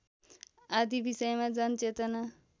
आदि विषयमा जनचेतना